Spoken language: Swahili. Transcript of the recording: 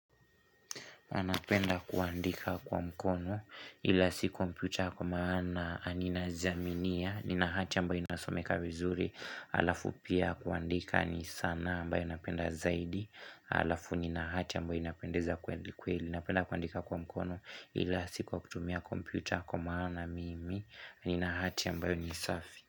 Anapenda kuandika kwa mkono ila si komputa kwa maana nina jiaminia, nina hati ambayo inasomeka vizuri, alafu pia kuandika ni sanaa ambayo napenda zaidi, alafu nina hati ambayo inapendeza kweli, ninapenda kuandika kwa mkono ila si kwa kutumia komputa kwa maana mimi, nina hati ambayo ni safi.